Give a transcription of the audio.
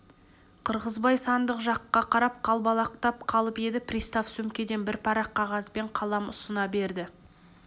қырғызбай сандық жаққа қарап қалбалақтап қалып еді пристав сөмкеден бір парақ қағаз бен қалам ұсына берді